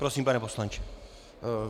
Prosím, pane poslanče.